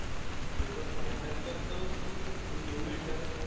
तो पण भांडण करतो की तो येऊन मॅटर